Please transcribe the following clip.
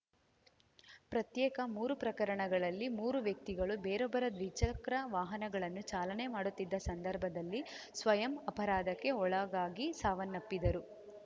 ಪ್ರತ್ಯೇಕ ಮೂರು ಪ್ರಕರಣಗಳಲ್ಲಿ ಮೂರು ವ್ಯಕ್ತಿಗಳು ಬೇರೊಬ್ಬರ ದ್ವಿಚಕ್ರ ವಾಹನಗಳನ್ನು ಚಾಲನೆ ಮಾಡುತ್ತಿದ್ದ ಸಂದರ್ಭದಲ್ಲಿ ಸ್ವಯಂ ಅಪರಾಧಕ್ಕೆ ಒಳಗಾಗಿ ಸಾವನ್ನಪ್ಪಿದರು